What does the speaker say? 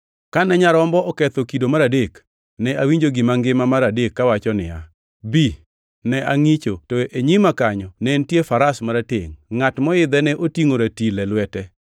Kane Nyarombo noketho kido mar adek, ne awinjo gima ngima mar adek kawacho niya, “Bi!” Ne angʼicho to e nyima kanyo ne nitie faras maratengʼ! Ngʼat moidhe ne otingʼo ratil e lwete.